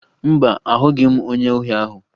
Mba, ahụghị m onye ohi ahụ